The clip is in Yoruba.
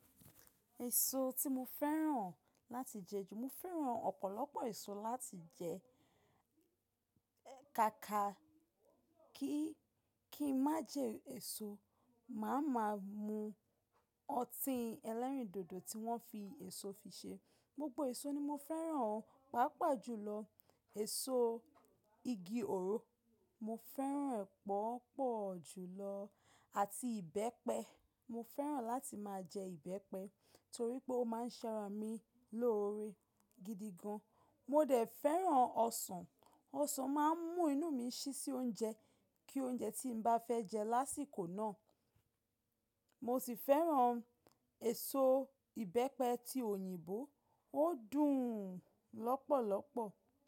Èso tí mo fẹ́ràn láti jẹ ju, mo fẹ́ràn ọ̀pọ̀lọpọ̀ èso láti jẹ, kaka kí, kí má jẹ èso, mà á máà mú ọtí elérìndòdò tí wọ́n fi èso fi ṣe. Gbogbo èso ni mo fẹ́ràn, pàápàá jùlọ èso igi ọ̀ro mo fẹ́ràn pọ́pọ̀ jùlọ àti ìbẹ́pẹ. Mo fẹ́ràn láti máa jẹ ìbẹ́pẹ torí pé ó máa ń ṣẹran mi lórí gidi gan. Mo dẹ̀ fẹ́ràn ọsàn, ọsàn máa ń mú inú mi ṣí sí oúnjẹ kí oúnjẹ tí n bá fẹ́ jẹ lásìkò náà. Mo sì fẹ́ràn èso ìbẹ́pẹ ti òyìnbó, o dùn lọ́pọ̀lọpọ̀.